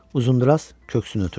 Uzundraz köksünü ötürdü.